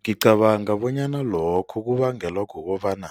Ngicabanga bonyana lokho kubangelwa kukobana